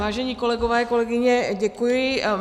Vážení kolegové, kolegyně, děkuji.